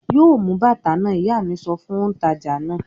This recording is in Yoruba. "Yóò mú bàtà náà!" Ìyá mi sọ fún òǹtajà náà.